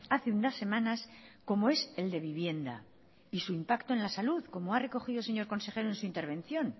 hace unas semanas como es el de vivienda y su impacto en la salud como ha recogido el señor consejero en su intervención